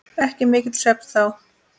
Ekki mikill svefn þá.